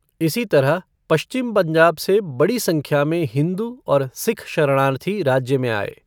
इसी तरह, पश्चिम पंजाब से बड़ी संख्या में हिंदू और सिख शरणार्थी राज्य में आए।